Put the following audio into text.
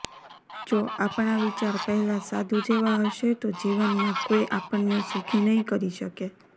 જો આપણા વિચાર પહેલાં સાધુ જેવા હશે તો જીવનમાં કોઈ આપણને સુખી નહિં કરી શકે